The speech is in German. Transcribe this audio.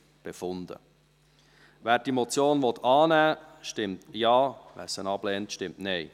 Wer diese Motion annehmen will, stimmt Ja, wer diese ablehnt, stimmt Nein.